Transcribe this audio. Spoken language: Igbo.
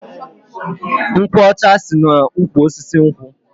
Nkwo ọcha si na ụkwụ osisi nkwu